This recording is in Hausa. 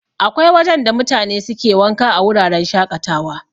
Akwai wajen da mutane suke wanka a wuraren shaƙatawa.